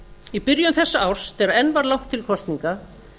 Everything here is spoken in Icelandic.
í byrjun þessa árs þegar enn var langt til kosninga